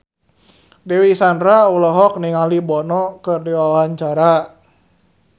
Dewi Sandra olohok ningali Bono keur diwawancara